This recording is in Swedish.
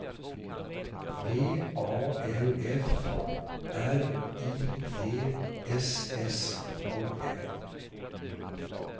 V A L F R I D S S O N